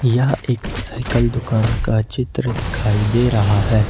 यह एक साइकल दुकान का चित्र दिखाई दे रहा है।